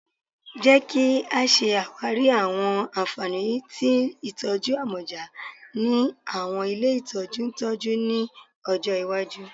Jẹ ki a ṣawari awọn anfani ti itọju amọja ni awọn ile itọju ntọju ni ọjọ iwaju